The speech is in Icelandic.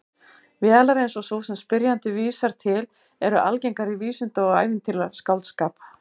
Vélar eins og sú sem spyrjandi vísar til eru algengar í vísinda- og ævintýraskáldskap.